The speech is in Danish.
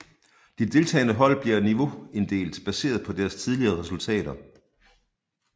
De deltagende hold bliver niveauinddelt baseret på deres tidligere resultater